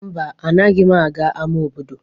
Mba, anaghị m aga ama obodo.